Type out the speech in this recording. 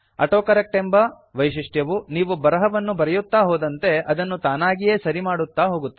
autocorrect ಎಂಬ ವೈಶಿಷ್ಟ್ಯವು ನೀವು ಬರಹವನ್ನು ಬರೆಯುತ್ತಾ ಹೋದಂತೆ ಅದನ್ನು ತಾನಾಗಿಯೇ ಸರಿಮಾಡುತ್ತಾ ಹೋಗುತ್ತದೆ